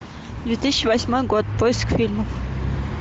две тысячи восьмой год поиск фильмов